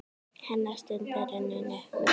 Hennar stund er runnin upp.